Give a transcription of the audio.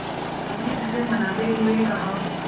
अम्मा ने उसे मनाते हुए कहा